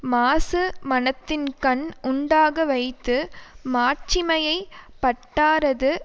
மாசு மனத்தின்கண் உண்டாக வைத்து மாட்சிமைப் பட்டாரது